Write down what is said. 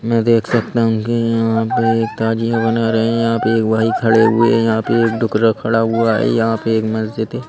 मैं देख सकता हूँ कि यहाँ पे एक ताजियाँ बना रहे हैं यहाँ पे एक भाई खड़े हुए हैं यहाँ पे एक टुकरा खड़ा हुआ है यहाँ पे एक मस्जिद है।